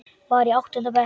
Var í áttunda bekk.